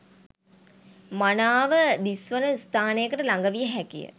මනාව දිස්වන ස්ථානයකට ලග විය හැක.